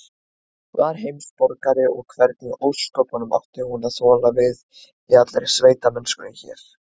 Var heimsborgari, og hvernig í ósköpunum átti hún að þola við í allri sveitamennskunni hér?